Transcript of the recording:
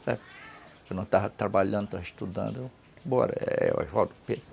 Se eu não estava trabalhando, estava estudando,